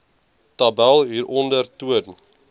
tabel hieronder toon